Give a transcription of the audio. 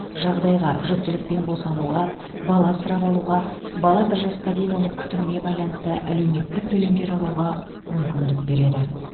жағдайға жүктілік пен босануға бала асырап алуға бала бір жасқа дейін оның күтіміне байланысты әлеуметтік төлемдер алуға мүмкіндік береді